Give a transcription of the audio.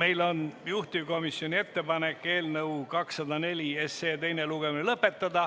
Meil on juhtivkomisjoni ettepanek eelnõu 204 teine lugemine lõpetada,